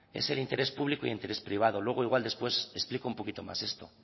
es el interés público y el interés privado luego igual después explico un poquito más esto